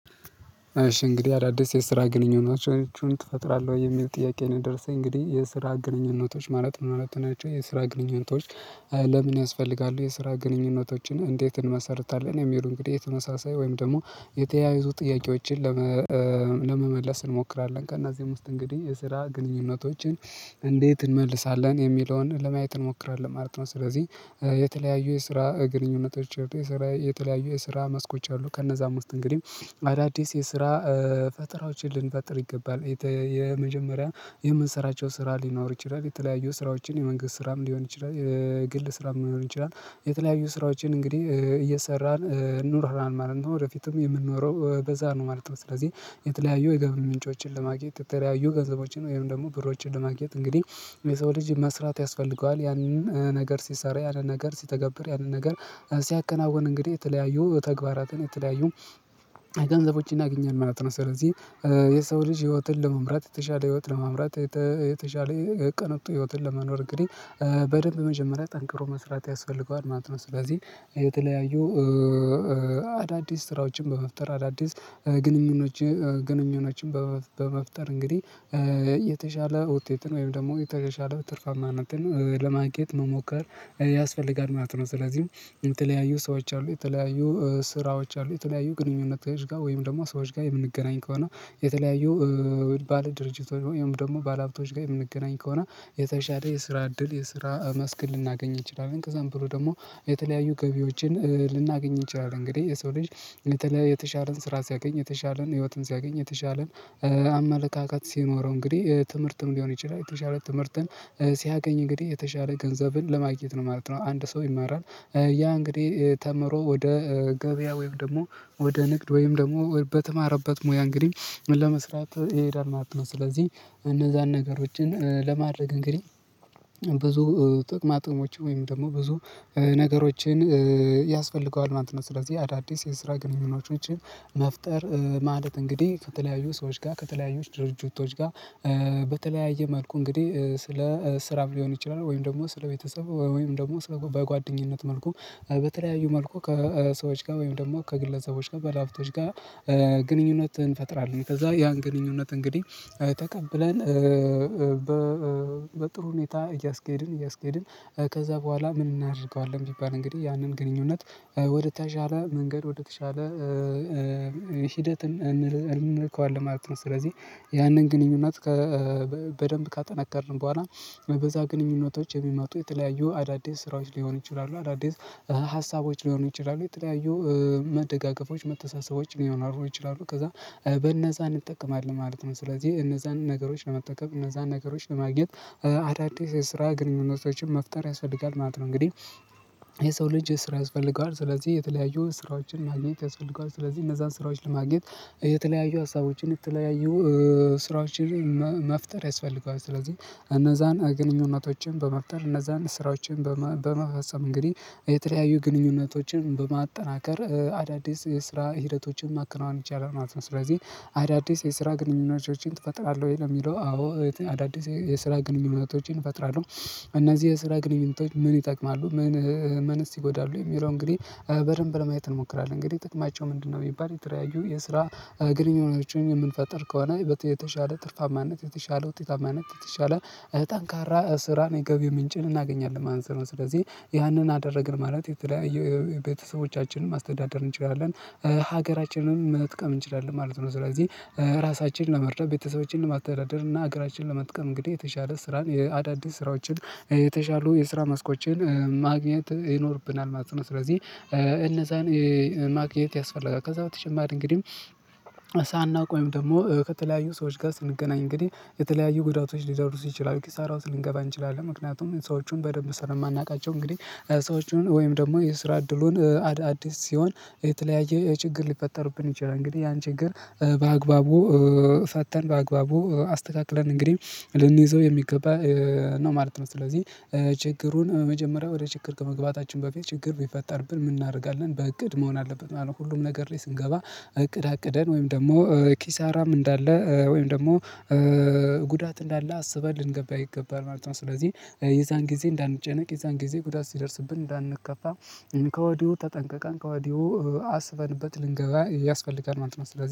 እሺ እንግዲህ አዳዲስ የስራ ግንኙነቶችን ትፈጥራለህ የሚል ጥያቄ ነው የደረሰኝ እንግዲህ የስራ ግንኙነቶች ማለት ምን ማለት ናቸው የስራ ግንኙነቶች? ለምን ያስፈልጋሉ የስራ ግንኙነቶችን እንዴት እንመሰርታለን? የሚሉ እንግዲህ ተመሳሳይ ወይም ደግሞ የተያያዙ ጥያቄዎችን ለመመለስ እንሞክራለን። ከእነዚህም ውስጥ እንግዲህ የስራ ግንኙነቶችን እንዴት እንመልሳለን የሚለውን ለማየት እንሞክራለን ማለት ነው። ስለዚህ የተለያዩ የስራ ግንኙነቶች የተለያዩ የስራ መስኮች አሉ ከነዛም ውስጥ እንግዲህ አዳዲስ የስራ ፈጠራዎችን ልንፈጥር ይገባል የመጀመሪያ የምንሰራቸው ስራ ሊኖር ይችላል። የተለያዩ ስራዎችን የመንግስት ስራም ሊሆን ይችላል። የግል ስራም ሊሆን ይችላል የተለያዩ ስራዎችን እንግዲህ እየሰራን ኑረናል ማለት ነው ወደፊትም የምንኖረው በዛ ነው ማለት ነው። ስለዚህ የተለያዩ የገቢ ምንጮችን ለማግኘት የተለያዩ ገንዘቦችን ወይም ደግሞ ብሮችን ለማግኘት እንግዲህ የሰው ልጅ መስራት ያስፈልገዋል። ያንን ነገር ሲሰራ ያንን ነገር ሲተገብር ያንን ነገር ሲያከናውን እንግዲህ የተለያዩ ተግባራትን የተለያዩ ገንዘቦችን ያገኛል ማለት ነው። ስለዚህ የሰው ልጅ ህይወቱን ለመምራት የተሻለ ህይወት ለመምራት የተሻለ ቅንጡ ህይወትን ለመኖር እንግዲህ በደንብ መጀመሪያ ጠንክሮ መስራት ያስፈልገዋል ማለት ነው። ስለዚህ የተለያዩ አዳዲስ ስራዎችን በመፍጠር አዳዲስ ግንኙኖች ግንኙነቶችን በመፍጠር እንግዲህ የተሻለ ውጤትን ወይም ደግሞ የተሻለ ትርፋማነትን ለማግኘት መሞከር ያስፈልጋል ማለት ነው። ስለዚህ የተለያዩ ሰዎች አሉ የተለያዩ ስራዎች አሉ የተለያዩ ግንኙነቶች ጋር ወይም ደግሞ ሰዎች ጋር የምንገናኝ ከሆነ የተለያዩ ባለድርጅቶች ወይም ደግሞ ባለሀብቶች ጋር የምንገናኝ ከሆነ የተሻለ የስራ እድል የስራ መስክ ልናገኝ እንችላለን። ከዛም ብሎ ደግሞ የተለያዩ ገቢዎችን ልናገኝ እንችላለን። እንግዲህ የሰው ልጅ የተሻለን ስራ ሲያገኝ የተሻለን ህይወትን ሲያገኝ የተሻለን አመለካከት ሲኖረው እንግዲህ ትምህርትም ሊሆን ይችላል የተሻለ ትምህርትን ሲያገኝ እንግዲህ የተሻለ ገንዘብን ለማግኘት ነው ማለት ነው። አንድ ሰው ይማራል ያ እንግዲህ ተምሮ ወደ ገበያ ወይም ደግሞ ወደ ንግድ ወይም ደግሞ በተማረበት ሙያ እንግዲህ ለመስራት ይሄዳል ማለት ነው። ስለዚህ እነዛን ነገሮችን ለማድረግ እንግዲህ ብዙ ጥቅማጥቅሞች ወይም ደግሞ ብዙ ነገሮችን ያስፈልገዋል ማለት ነው። ስለዚህ አዳዲስ የስራ ግንኙነቶችን መፍጠር ማለት እንግዲህ ከተለያዩ ሰዎች ጋር ከተለያዩ ድርጅቶች ጋር በተለያየ መልኩ እንግዲህ ስለ ስራም ሊሆን ይችላል ወይም ደግሞ ስለ ቤተሰብ ወይም ደግሞ ስለ በጓደኝነት መልኩ በተለያዩ መልኩ ከሰዎች ጋር ወይም ደግሞ ከግለሰቦች ጋር ባለሃብቶች ጋር ግንኙነት እንፈጥራለን። ከዛ ያን ግንኙነት እንግዲህ ተቀብለን በጥሩ ሁኔታ እያስኬድን እያስኬድን ከዛ በኋላ ምን እናደርገዋለን? ቢባል እንግዲህ ያንን ግንኙነት ወደተሻለ መንገድ ወደተሻለ ሂደትም እንልካዋለን ማለት ነው። ስለዚህ ያንን ግንኙነት በደንብ ካጠነከርን በኋላ በዛ ግንኙነቶች የሚመጡ የተለያዩ አዳዲስ ስራዎች ሊሆኑ ይችላሉ አዳዲስ ሀሳቦች ሊሆኑ ይችላሉ የተለያዩ መደጋገፎች መተሳሰቦች ሊሆኑ ይችላሉ ከዛ በነዛ እንጠቀማለን ማለት ነው። ስለዚህ እነዛን ነገሮች ለመጠቀም እነዛን ነገሮች ለማግኘት አዳዲስ የስራ ግንኙነቶችን መፍጠር ያስፈልጋል ማለት ነው። እንግዲህ የሰው ልጅ ስራ ያስፈልገዋል ስለዚህ የተለያዩ ስራዎችን ማግኘት ያስፈልገዋል ስለዚህ እነዛን ስራዎች ለማግኘት የተለያዩ ሀሳቦችን የተለያዩ ስራዎችን መፍጠር ያስፈልገዋል ስለዚህ እነዛን ግንኙነቶችን በመፍጠር እነዛን ስራዎችን በመፈጸም እንግዲህ የተለያዩ ግንኙነቶችን በማጠናከር አዳዲስ የስራ ሂደቶችን ማከናወን ይቻላል ማለት ነው። ስለዚህ አዳዲስ የስራ ግንኙነቶችን ትፈጥራለህ ወይ ነው? ለሚለው አዎ አዳዲስ የስራ ግንኙነቶችን እፈጥራለሁ። እነዚህ የስራ ግንኙነቶች ምን ይጠቅማሉ ምን ምንስ ይጎዳሉ? የሚለው እንግዲህ በደንብ ለማየት እንሞክራለን እንግዲህ ጥቅማቸው ምንድነው? የሚባል የተለያዩ የስራ ግንኝነቶችን የምንፈጥር ከሆነ ይበልጥ የተሻለ ትርፋማነት የተሻለ ውጤታማነት የተሻለ ጠንካራ ስራ የገቢ ምንጭን እናገኛለን ማለት ነው። ስለዚህ ያንን አደረግን ማለት የተለያየ ቤተሰቦቻችንን ማስተዳደር እንችላለን ሀገራችንን መጥቀም እንችላለን ማለት ነው። ስለዚህ ራሳችንን ለመርዳት ቤተሰቦችንን ለማተዳደር እና ሀገራችንን ለመጥቀም እንግዲህ የተሻለ ስራን አዳዲስ ስራዎችን የተሻሉ የስራ መስኮችን ማግኘት ይኖርብናል። ማለት ስለዚህ እነዛን ማግኘት ያስፈልጋል ከዛ በተጨማሪ እንግዲህ ሳናውቀው ወይም ደግሞ ከተለያዩ ሰዎች ጋር ስንገናኝ እንግዲህ የተለያዩ ጉዳቶች ሊደርሱ ይችላሉ ኪሳራ ውስጥ ልንገባ እንችላለን። ምክንያቱም ሰዎቹን በደንብ ስለማናውቃቸው እንግዲህ ሰዎቹን ወይም ደግሞ የስራ እድሉን አድ አዲስ ሲሆን የተለያየ ችግር ሊፈጠርብን ይችላል እንግዲህ ያን ችግር በአግባቡ ፈተን በአግባቡ አስተካክለን እንግዲህ ልንይዘው የሚገባ ነው ማለት ነው። ስለዚህ ችግሩን መጀመሪያ ወደ ችግር ከመግባታችን በፊት ችግር ቢፈጠርብን ምን እናደርጋለን በእቅድ መሆን አለበት ማለት ነው። ሁሉም ነገር ላይ ስንገባ እቅድ አቅደን ወይም ደግሞ ኪሳራም እንዳለ ወይም ደግሞ ጉዳት እንዳለ አስበህ ልንገባ ይገባል ማለት ነው። ስለዚህ የዛን ጊዜ እንዳንጨነቅ የዛን ጊዜ ጉዳት ሲደርስብን እንዳንከፋ ከወዲሁ ተጠንቀቀን ከወዲሁ አስበንበት ልንገባ ያስፈልጋል ማለት ነው። ስለዚህ